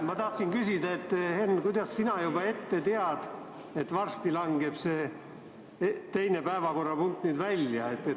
Ma tahtsin küsida, Henn, kuidas sina juba ette tead, et varsti langeb see teine päevakorrapunkt meil välja.